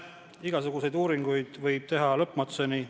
Igasuguseid uuringuid võib teha lõpmatuseni.